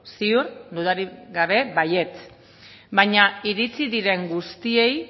ziur dudarik baietz baina iritsi diren guztiei